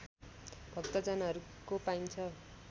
भक्तजनहरूको पाइन्छ